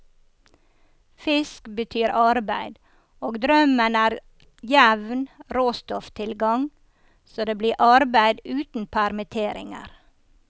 Fisk betyr arbeid, og drømmen er jevn råstofftilgang så det blir arbeid uten permitteringer.